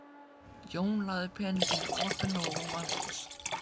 Jón lagði peninginn í opinn lófa mannsins.